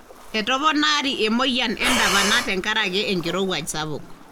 etoponari emoyian endapana tenkaraki enkirowuaj sapuk.